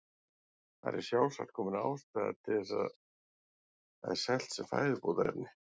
Þar er sjálfsagt komin ástæða þess að það er selt sem fæðubótarefni.